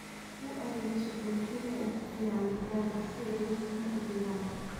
U adeegso buulasha ugu fiican digaaga si ay ukumo u dhigaan.